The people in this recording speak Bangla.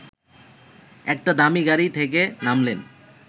একটা দামি গাড়ি থেকে নামলেন